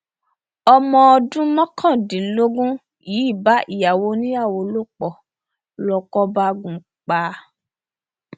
ọmọ ọdún mọkàndínlógún yìí bá ìyàwó oníyàwó lò pọ lóko bá gùn ún pa